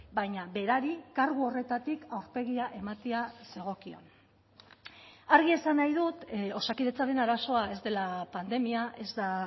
baina berari kargu horretatik aurpegia ematea zegokion argi esan nahi dut osakidetzaren arazoa ez dela pandemia ez da